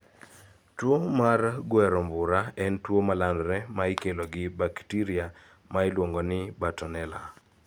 Tuo mar gwero mbura en tuo ma landore ma ikelo gi baktiria ma iluongo ni bartonella.